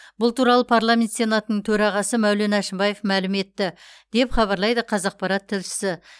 бұл туралы парламент сенатының төрағасы мәулен әшімбаев мәлім етті деп хабарлайды қазақпарат тілшісі